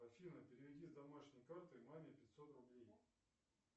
афина переведи с домашней карты маме пятьсот рублей